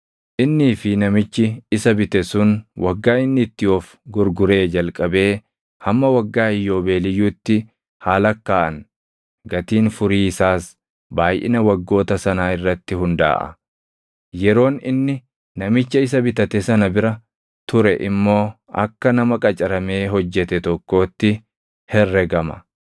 Innii fi namichi isa bite sun waggaa inni itti of gurguree jalqabee hamma waggaa Iyyoobeeliyyuutti haa lakkaaʼan. Gatiin furii isaas baayʼina waggoota sanaa irratti hundaaʼa; yeroon inni namicha isa bitate sana bira ture immoo akka nama qacaramee hojjete tokkootti herregama.